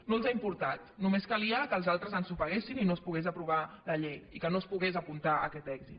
no els ha importat només calia que els altres ensopeguessin i no es pogués aprovar la llei i que no es pogués apuntar aquest èxit